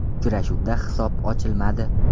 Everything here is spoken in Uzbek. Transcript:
Uchrashuvda hisob ochilmadi.